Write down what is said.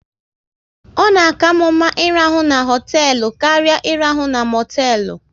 Ọ na karmu mma ị rahụ na hotelu karịa irahu na motelu